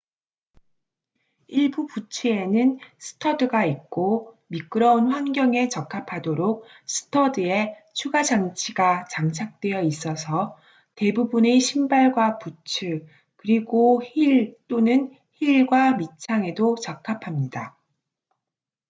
일부 부츠에는 스터드가 있고 미끄러운 환경에 적합하도록 스터드에 추가 장치가 장착되어 있어서 대부분의 신발과 부츠 그리고 힐 또는 힐과 밑창에도 적합합니다